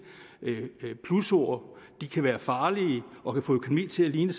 plusord de kan være farlige og kan få økonomien til at ligne